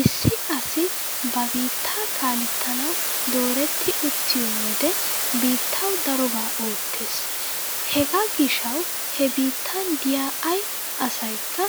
Issi asi ba biittaa kaalettanawu dooretti uttiyo wodehe biittawu darobaa oottees. Hegaa gishshawu he biittan diya ay asaykka